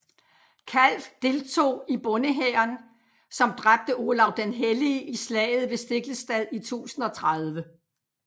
Kalv deltog i bondehæren som dræbte Olav den hellige i slaget ved Stiklestad i 1030